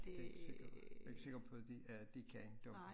Det sikkert jeg ikke sikker på de at de kan dem